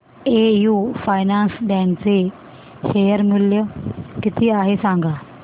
AU finance bank चे share मूल्य किती आहे सांगा